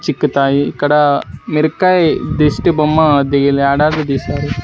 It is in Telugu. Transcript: చిక్కుతాయి ఇక్కడ మిరకాయ్ దిష్టి బొమ్మ దీ వేలాడదీశారు.